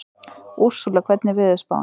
Úrsúla, hvernig er veðurspáin?